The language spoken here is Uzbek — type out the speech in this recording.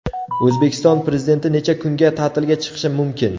O‘zbekiston Prezidenti necha kunga ta’tilga chiqishi mumkin?.